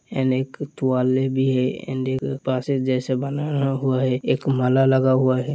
And एक तुवालाय भी है एंड एक जैसे बंधा हुआ है एक माला लगा हुआ है।